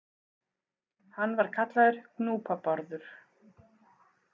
Hann var kallaður Gnúpa-Bárður.